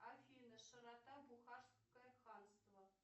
афина широта бухарское ханство